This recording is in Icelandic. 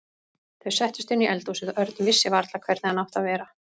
Þau settust inn í eldhúsið og Örn vissi varla hvernig hann átti að vera.